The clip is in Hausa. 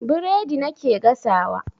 Biredi nake gasawa.